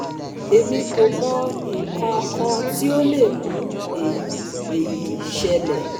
Emi ko mo ikan kan ti o le mu eyi eyi sele